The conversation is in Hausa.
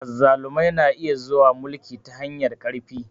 Azzalumai na iya zuwa mulki ta hanyar ƙarfi.